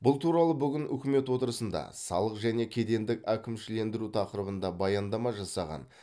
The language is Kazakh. бұл туралы бүгін үкімет отырысында салық және кедендік әкімшілендіру тақырыбында баяндама жасаған